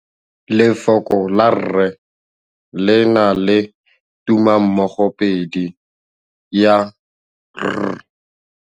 Lefoko la rre le na le tumammogôpedi ya, r.